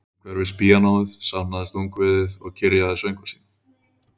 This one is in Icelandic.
Umhverfis píanóið safnaðist ungviðið og kyrjaði söngva sína